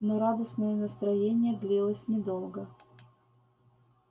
но радостное настроение длилось недолго